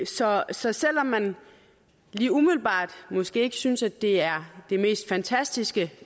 så så selv om man lige umiddelbart måske ikke synes at det er det mest fantastiske